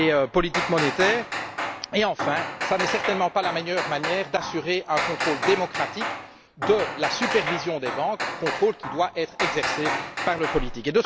politique monétaire et, enfin, ce n'est certainement pas la meilleure manière d'assurer un contrôle démocratique de la supervision des banques contrôle qui doit être exercé par le politique.